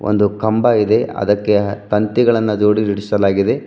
ಒಂದು ಕಂಬ ಇದೆ ಅದಕ್ಕೆ ತಂತಿಗಳನ್ನ ಜೋಡಿಸಲಾಗಿದೆ.